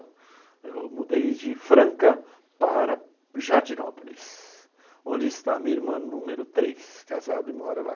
Eu mudei de Franca para Jardinópolis, onde está minha irmã número três, casada e mora lá.